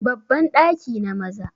babban daki na Maza